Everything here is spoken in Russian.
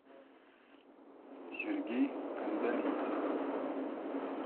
сергей кандалинцев